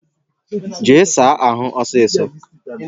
Jee saa ahụ ọsịsọ!